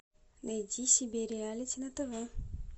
найди себе реалити на тв